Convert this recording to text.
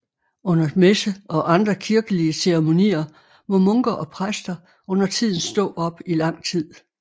Under messer og andre kirkelige ceremonier må munker og præster undertiden stå op i lang tid